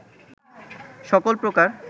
সকল প্রকার